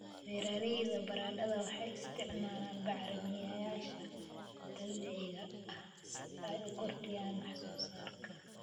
Beeralayda baradhada waxay isticmaalaan bacrimiyeyaasha dabiiciga ah si ay u kordhiyaan wax soo saarka.